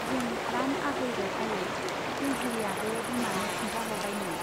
जों द्लाम आग'यबाय आयै, दैजिरियाबो बिमानो खिन्थाह'रबायनो।